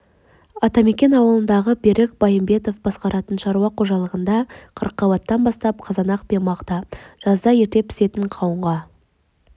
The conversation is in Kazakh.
атамекен ауылындағы берік байымбетов басқаратын шаруа қожалығында қырыққабаттан бастап қызанақ пен мақта жазда ерте пісетін қауынға